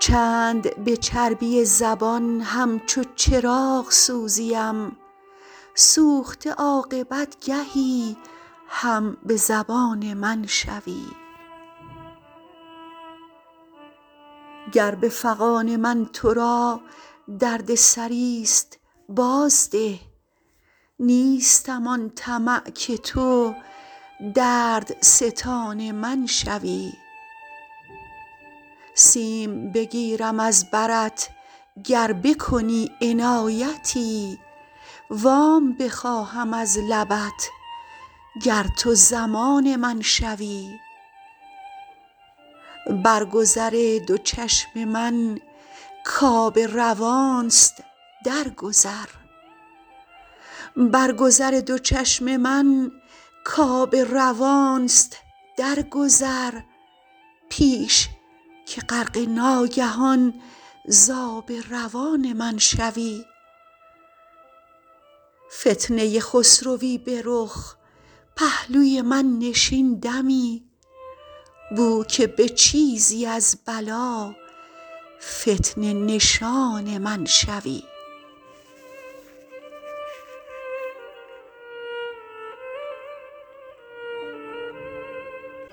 چند به چربی زبان همچو چراغ سوزیم سوخته عاقبت گهی هم به زبان من شوی گر به فغان من ترا دردسری ست باز ده نیستم آن طمع که تو دردستان من شوی سیم بگیرم از برت گر بکنی عنایتی وام بخواهم از لبت گر تو ضمان من شوی برگذر دو چشم من کاب روانست در گذر پیش که غرقه ناگهان ز آب روان من شوی فتنه خسروی به رخ پهلوی من نشین دمی بو که به چیزی از بلا فتنه نشان من شوی